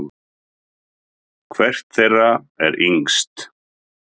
Hvert þeirra er yngst?